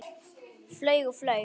Flaug og flaug.